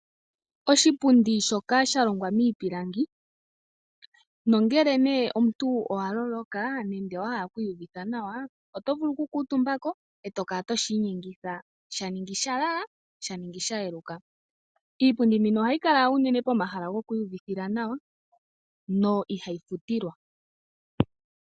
Oshipundi shoka sha longwa miipilangi nongele nee omuntu owa loloka nenge wahala okwiiyuvidha nawa oto vulu oku kuutumba ko eto kala toshi inyengitha sha ningi sha lala, sha ningi sha yeluka, Iipundi mbino ohayi kala uunene pomahala gokwiiyuvithila nawa no ihayi futilwa.